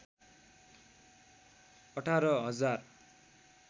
१८ हजार